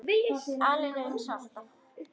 Aleina, eins og alltaf.